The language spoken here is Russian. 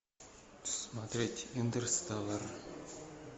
смотреть интерстеллар